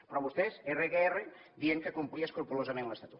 però vostès erre que erre dient que complia escrupolosament l’estatut